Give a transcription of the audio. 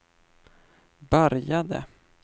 började